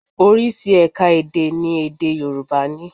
Oríṣi ẹ̀ka èdè ni èdè Yorùbá ní